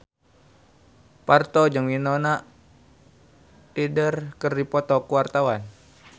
Parto jeung Winona Ryder keur dipoto ku wartawan